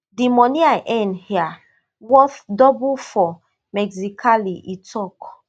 di money i earn hia worth double for mexicali e tok